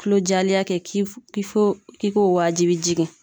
Kulo jalenya kɛ k'i fo k'i k'o waajibiya jigin.